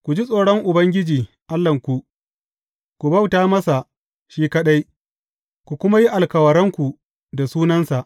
Ku ji tsoron Ubangiji Allahnku, ku bauta masa shi kaɗai, ku kuma yi alkawaranku da sunansa.